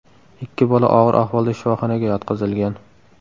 Ikki bola og‘ir ahvolda shifoxonaga yotqizilgan .